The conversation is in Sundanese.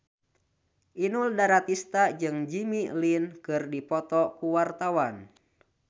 Inul Daratista jeung Jimmy Lin keur dipoto ku wartawan